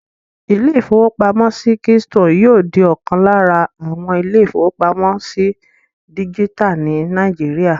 Ilé-ìfowópamọ́sí Keystone yóò di ọ̀kan láàrin àwọn ilé-ìfowópamọ́sí dígítà ní Nàìjíríyà